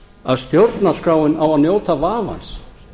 að stjórnarskráin á að njóta vafans